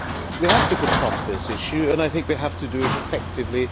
We have to confront this issue and I think we have to do it effectively.